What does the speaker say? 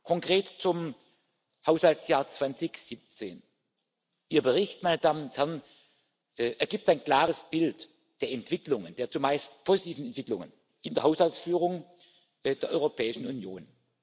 Konkret zum Haushaltsjahr 2017 Ihr Bericht, meine Damen und Herren, ergibt ein klares Bild der Entwicklungen, der zumeist positiven Entwicklungen in der Haushaltsführung der Europäischen Union.